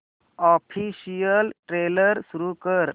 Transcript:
official trailer सुरू कर